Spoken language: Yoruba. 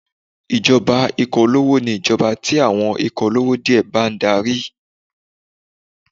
Ìjọba ikọ̀ olówó ni ìjọba tí àwọn ikọ̀ olówó díẹ̀ bá ń darí.